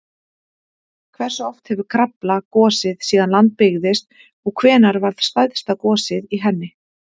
Hversu oft hefur Krafla gosið síðan land byggðist og hvenær varð stærsta gosið í henni?